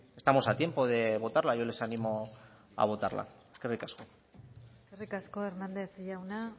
estamos a tiempo de votarla yo les animo a votarla eskerrik asko eskerrik asko hernández jauna